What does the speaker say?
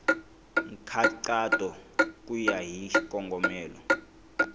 nkhaqato ku ya hi xikongomelo